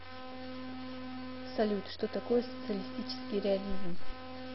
салют что такое социалистический реализм